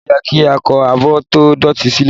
Nje ó yẹ kí a kó abọ́ tó dọ̀tí silẹ?